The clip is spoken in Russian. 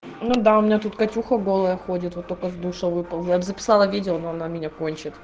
ну да у меня тут катюха голая ходит вот только с душа выползла я б записала видео но она меня кончит